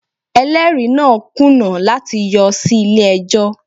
Ẹlẹ́rìí náà kùnà láti yọ sí ilé ẹjọ́